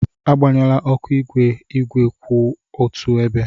Agbanyela oku igwe igwe kwụ otu ebe!